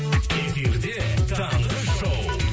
эфирде таңғы шоу